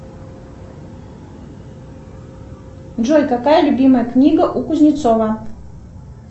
джой какая любимая книга у кузнецова